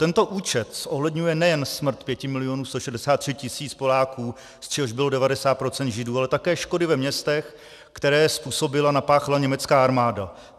Tento účet zohledňuje nejen smrt 5 163 000 Poláků, z čehož bylo 90 % Židů, ale také škody ve městech, které způsobila, napáchala německá armáda.